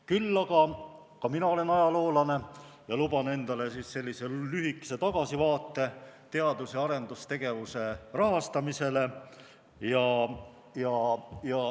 Küll aga ka mina olen ajaloolane ja luban endale lühikese tagasivaate teadus- ja arendustegevuse rahastamisele.